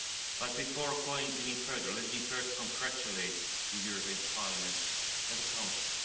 But before going any further, let me first congratulate the European Parliament and the Council.